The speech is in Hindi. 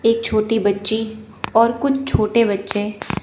एक छोटी बच्ची और कुछ छोटे बच्चे--